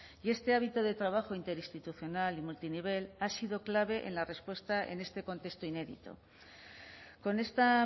y este hábito de trabajo interinstitucional y multinivel ha sido clave en la respuesta en este contexto inédito con esta